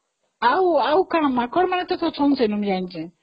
ଆଉ ଆଉ ମାଙ୍କଡମାନେ ବି ଅଛନ୍ତି ତ ଜାଣିଛି